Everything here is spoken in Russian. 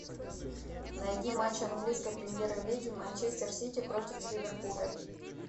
найди матч английской премьер лиги манчестер сити против ливерпуля